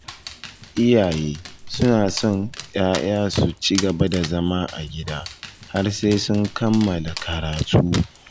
Iyaye suna son 'ya'ya su ci gaba da zama a gida har sai sun kammala karatu